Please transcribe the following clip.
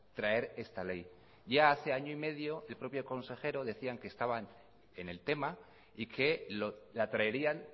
traer esta ley ya hace año y medio el propio consejero decía que estaban en el tema y que la traerían